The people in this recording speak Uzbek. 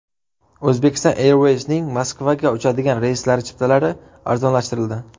Uzbekistan Airways’ning Moskvaga uchadigan reyslari chiptalari arzonlashtirildi.